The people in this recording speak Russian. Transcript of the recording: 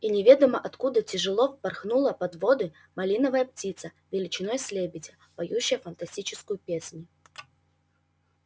и неведомо откуда тяжело впорхнула под своды малиновая птица величиной с лебедя поющая фантастическую песнь